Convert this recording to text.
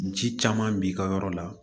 Ni ci caman b'i ka yɔrɔ la